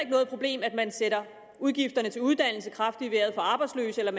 noget problem at man sætter udgifterne til uddannelse kraftigt i vejret for arbejdsløse eller at